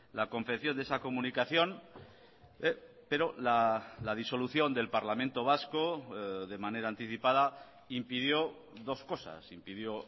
la confección de esa comunicación pero la disolución del parlamento vasco de manera anticipada impidió dos cosas impidió